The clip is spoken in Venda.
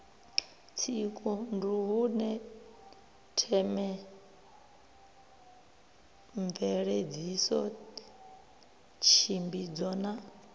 tsiku nduhune themamveledziso tshimbidzo na